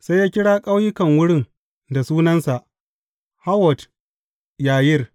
Sai ya kira ƙauyukan wurin da sunansa, Hawwot Yayir.